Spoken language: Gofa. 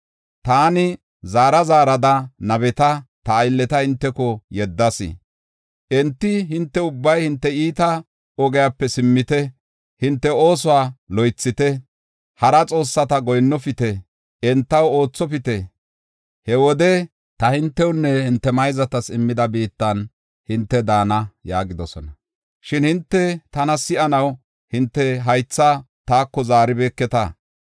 Taani zaarada zaarada nabeta, ta aylleta hinteko yeddas; enti, ‘Hinte ubbay hinte iita ogiyape simmite; hinte oosuwa loythite; hara xoossata goyinnofite; entaw oothopite. He wode, ta hintewunne hinte mayzatas immida biittan hinte daana’ yaagidosona. Shin hinte tana si7anaw hinte haythaa taako zaaribeeketa.